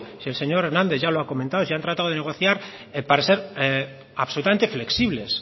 si el señor hernández ya lo ha comentado si han tratado de negociar al parecer absolutamente flexibles